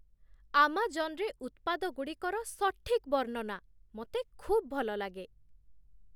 ଆମାଜନ୍‌ରେ ଉତ୍ପାଦଗୁଡ଼ିକର ସଠିକ୍ ବର୍ଣ୍ଣନା ମୋତେ ଖୁବ୍ ଭଲଲାଗେ।